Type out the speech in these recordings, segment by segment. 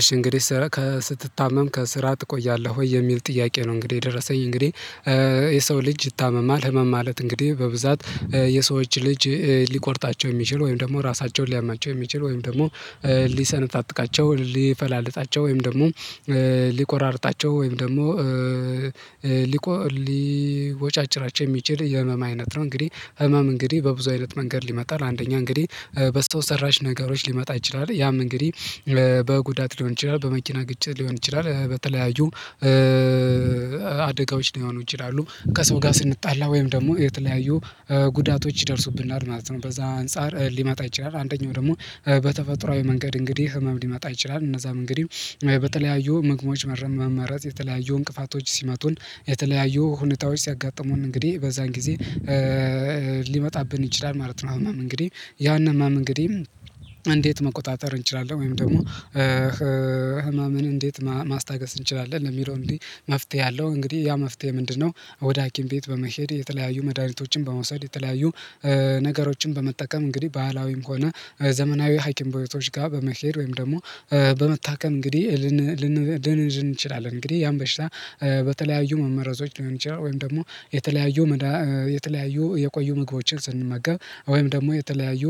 እሺ እንግዲህ ስትታመም ከስራ ትቆያለህ ወይ የሚል ጥያቄ ነው? እንግዲህ የደረሰኝ እንግዲህ የሰው ልጅ ይታመማል ህመም ማለት እንግዲህ በብዛት የሰዎች ልጅ ሊቆርጣቸው የሚችል ወይም ደግሞ ራሳቸውን ሊያማቸው የሚችል ወይም ደግሞ ሊሰነጣጥቃቸው ሊፈላልጣቸው ወይም ደግሞ ሊቆራርጣቸው ወይም ደግሞ ሊቦጫጭራቸው የሚችል የህመም አይነት ነው እንግዲህ ህመም እንግዲህ በብዙ አይነት መንገድ ይመጣል። አንደኛ እንግዲህ በሰው ሰራሽ ነገሮች ሊመጣ ይችላል ያም እንግዲህ በጉዳት ሊሆን ይችላል በመኪና ግጭት ሊሆን ይችላል በተለያዩ አደጋዎች ሊሆኑ ይችላሉ። ከሰው ጋር ስንጣላ ወይም ደግሞ የተለያዩ ጉዳቶች ይደርሱብናል ማለት ነው። በዚያ አንፃር ሊመጣ ይችላል አንደኛው ደግሞ በተፈጥሮአዊ መንገድ እንግዲህ ህመም ሊመጣ ይችላል። እነዚያም እንግዲህ በተለያዩ ምግቦች መመረዝ የተለያዩ እንቅፋቶች ሲመቱን የተለያዩ ሁኔታዎች ሲያጋጥሙን እንግዲህ በዚያን ጊዜ ሊመጣብን ይችላል ማለት ነው። ህመም እንግዲህ ያን ህመም እንግዲህ እንዴት መቆጣጠር እንችላለን ወይም ደግሞ ህመምን እንዴት ማስታገስ እንችላለን? ለሚለው አንግዲህ መፍትሄ አለው እንግዲህ ያ መፍትሄ ምንድን ነው? ወደ ሀኪም ቤት በመሄድ የተለያዩ መድሃኒቶችን በመውሰድ የተለያዩ ነገሮችን በመጠቀም እንግዲህ ባህላዊም ሆነ ዘመናዊ ሀኪም ቤቶች ጋር በመኬድ ወይም ደግሞ በመታከም እንግዲህ ልንድን እንችላለን። እንግዲህ ያን በሽታ በተለያዩ መመረዞች ሊሆን ይችላል ወይም ደግሞ የተለያዩ የቆዩ ምግቦችን ስንመገብ ወይም ደግሞ የተለያዩ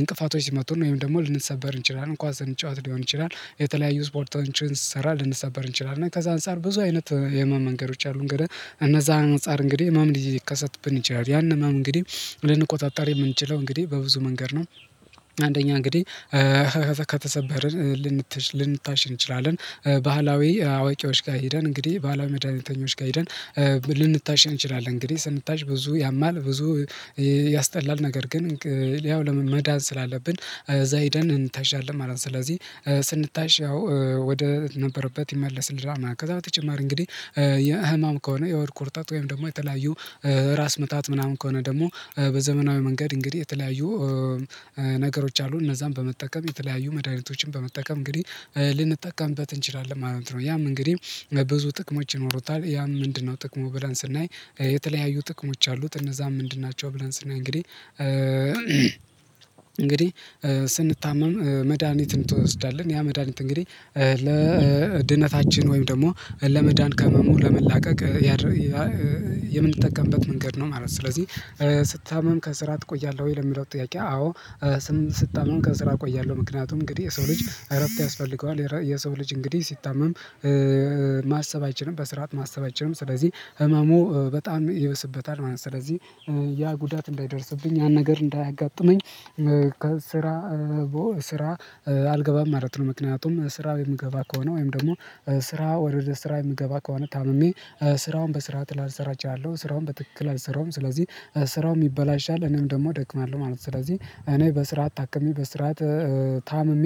እንቅፋቶች ሲመቱን ወይም ደግሞ ልንሰበር እንችላለን ኳስ ስንጫወት ሊሆን ይችላል የተለያዩ ስፖርቶችን ስሰራ ልንሰበር እንችላለን ከዚያ አንፃር ብዙ አይነት የህመም መንገዶች አሉ። እንግዲህ ከነዚያ አንፃር እንግዲህ ህመም ሊከሰትብን ይችላል ያን ህመም እንግዲህ ልንቆጣጠር የምንችለው እንግዲህ በብዙ መንገድ ነው። አንደኛ እንግዲህ ከተሰበርን ልንታሽ እንችላለን ባህላዊ አዋቂዎች ጋር ሄደን እንግዲህ ባህላዊ መድሃኒተኞች ጋር ሄደን ልንታሸን እንችላለን። እንግዲህ ስንታሽ ብዙ ያማል ብዙ ያስጠላል ነገር ግን ያው መዳን ስላለብን እዚያ ሄደን እንታሻለን ማለት ነው። ስለዚህ ስንታሽ ያው ወደ ነበረበት ይመለስልናል ከዛ በተጨማሪ እንግዲህ የህመም ከሆነ የሆድ ቁርጠት ወይም ደግሞ የተለያዩ ራስ ምታት ምናምን ከሆነ ደግሞ በዘመናዊ መንገድ እንግዲህ የተለያዩ ነገሮች አሉ። እነዚያን በመጠቀም የተለያዩ መድሃኒቶችን በመጠቀም እንግዲህ ልንጠቀምበት እንችላለን ማለት ነው። ያም እንግዲህ ብዙ ጥቅሞች ይኖሩታል ያም ምንድነው? ጥቅሙ ብለን ስናይ የተለያዩ ጥቅሞች አሉት እነዚያም ምንድን ናቸው? ብለን ስናይ እንግዲህ ስንታመም መድሃኒትን ትወስዳለህ ያ መድሃኒት እንግዲህ ለድነታችን ወይም ደግሞ ለመዳን ከህመሙ ለመላቀቅ የምንጠቀምበት መንገድ ነው ማለት ነው። ስለዚህ ስታምም ከስራ ትቆያለህ ወይ? ለሚለው ጥያቄ አዎ ስታመም ከስራ እቆያለሁ ምክንያቱም እንግዲህ የሰው ልጅ እረፍት ያስፈልገዋል የሰው ልጅ እንግዲህ ሲታመም ማሰብ አይችልም በስርዓት ማሰብ አይችልም ስለዚህ ህመሙ በጣም ይበስበታል ማለት ነው። ስለዚህ ያ ጉዳት እንዳይደርስብኝ ያ ነገር እንዳያጋጥመኝ ስራ አልገባም ማለት ነው። ምክንያቱም ስራ የምገባ ከሆነ ወይም ደግሞ ስራ ወደ ስራ የምገባ ከሆነ ታምሜ ስራውን በስርዓት ላልሰራ እችላለሁ ስራውን በትክክል አልሰራዉም ስለዚህ ስራውም ይበላሻል እኔም ደግሞ እደክማለሁ ማለት ነው። ስለዚህ እኔ በስርዓት ታክሜ በስርዓት ታምሚ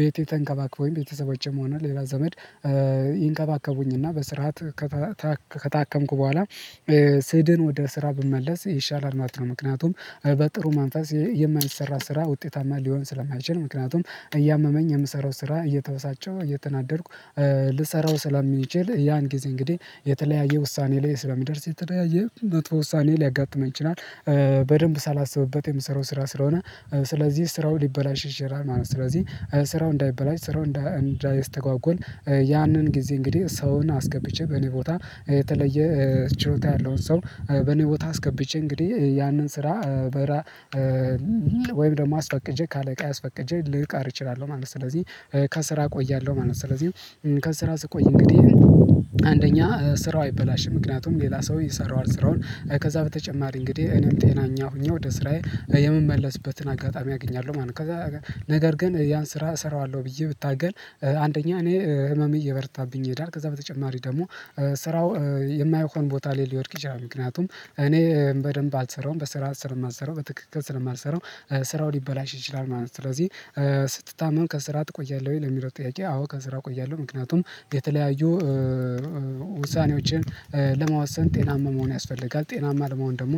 ቤቴ ተንከባክበዉኝ ቤተሰቦቼም ሆነ ሌላ ዘመድ ይንከባከቡኝ እና በስርዓት ከታከምኩ በኋላ ስድን ወደ ስራ ብመለስ ይሻላል ማለት ነው። ምክንያቱም በጥሩ መንፈስ የማይሰራ ስራ ውጤታማ ሊሆን ስለማይችል ምክንያቱም እያመመኝ የምሰራው ስራ እየተበሳጨሁ እየተናደድኩ ልሰራው ስለምችል ያን ጊዜ እንግዲህ የተለያየ ውሳኔ ላይ ስለምደርስ የተለያየ መጥፎ ውሳኔ ሊያጋጥመኝ ይችላል በደንብ ሳላስብበት የምሰራው ስራ ስለሆነ ስለዚህ ስራው ሊበላሽ ይችላል ማለት ነው። ስለዚህ ስራው እንዳይበላሽ ስራው እንዳይስተጓጎል ያንን ጊዜ እንግዲህ ሰውን አስገብቼ በእኔ ቦታ የተለየ ችሎታ ያለውን ሰው በእኔ ቦታ አስገብቼ እንግዲህ ያንን ስራ ወይም ደግሞ አስፈቅጄ ከአለቃዬ አስፈቅጄ ልቀር እችላለሁ ማለት ነው። ስለዚህ ከስራ እቆያለሁ ማለት ነው። ስለዚህ ከስራ ስቆይ እንግዲህ አንደኛ ስራው አይበላሽም ምክንያቱም ሌላ ሰው ይሰራዋል ስራውን ከዚያ በተጨማሪ እንግዲህ እኔም ጤነኛ ሆኜ ወደ ስራዬ የምመለስበትን አጋጣሚ አገኛለሁ ማለት ነው። ከዛ ነገር ግን ያን ስራ እሰራዋለሁ ብዬ ብታገል አንደኛ እኔ ህመሜ እየበረታብኝ ይሄዳል ከዛ በተጨማሪ ደግሞ ስራው የማያውቀው ቦታ ላይ ሊወድቅ ይችላል ምክንያቱም እኔ በደንብ አልሰራውም በስርዓት ስለማልሰራው በትክክል ስለማልሰራው ስራው ሊበላሽ ይችላል ማለት ነው። ስለዚህ ስትታመም ከስራ ትቆያለህ ለሚለው ጥያቄ? አዎ ከስራ እቆያለሁ ምክንያቱም የተለያዩ ውሳኔዎችን ለመወሰን ጤናማ መሆን ያስፈልጋል ጤናማ ለመሆን ደግሞ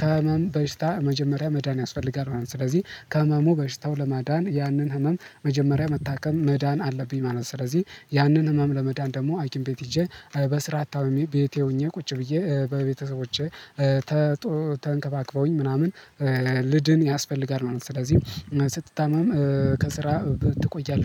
ከህመም በሽታ መጀመሪያ መዳን ያስፈልጋል ማለት ነው። ስለዚህ ከህመሙ በሽታው ለመዳን ያንን ህመም መጀመሪያ መታከም መዳን አለብኝ ማለት ነው። ስለዚህ ያንን ህመም ለመዳን ደግሞ ሀኪም ቤት ሄጄ በስርዓት ታምሜ ቤቴ ሆኜ ቁጭ ብዬ በቤተሰቦቼ ተንከባክበውኝ ምናምን ልድን ያስፈልጋል ማለት ነው። ስለዚህ ስትታመም ከስራ ትቆያለህ